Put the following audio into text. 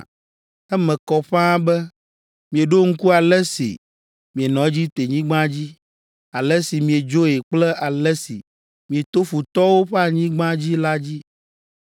Eme kɔ ƒãa be, mieɖo ŋku ale si mienɔ Egiptenyigba dzi, ale si miedzoe kple ale si mieto futɔwo ƒe anyigba dzi la dzi.